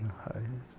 Não,